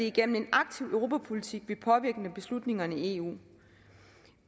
igennem en aktiv europapolitik vi påvirker beslutningerne i eu